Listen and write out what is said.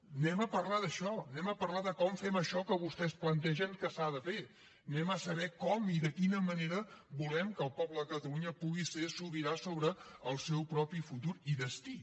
hi anem a parlar d’això hi anem a parlar de com fem això que vostès plantegen que s’ha de fer hi anem a saber com i de quina manera volem que el poble de catalunya pugui ser sobirà sobre el seu propi futur i destí